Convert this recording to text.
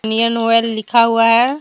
Indian Oil लिखा हुआ है।